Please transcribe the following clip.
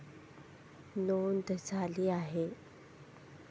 नोंद झाली आहे.